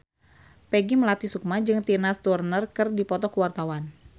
Peggy Melati Sukma jeung Tina Turner keur dipoto ku wartawan